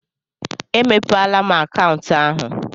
E mepeela m akaụntụ ahụ.